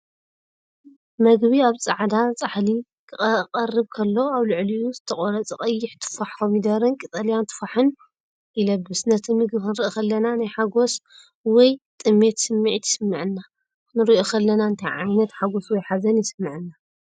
መግቢ ኣብ ጻዕዳ ጻሕሊ ክቐርብ ከሎ፡ ኣብ ልዕሊኡ ዝተቖርጸ ቀይሕ ቱፋሕ፡ ኮሚደረን ቀጠልያ ቱፋሕን ይለብስ። ነቲ መግቢ ክንርኢ ከለና፡ ናይ ሓጐስ ወይ ጥሜት ስምዒት ይስምዓና። ክንርእዮ ከለና እንታይ ዓይነት ሓጐስ ወይ ሓዘን ይስምዓና፧